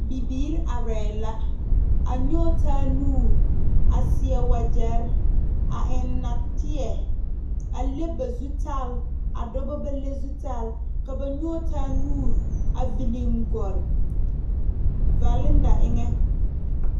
Nobɔ la waa yaga are a viligɔle taaore kaŋa zu gama naŋ dɔgle ba de la a gama ŋa ko neɛ haa ko maŋ pɛgle dɔɔ kaŋ su la kpare pelaa nungmaare ka bɔl ngmeɛrɛ yuori ane o foto a mare a kparoo eŋɛ.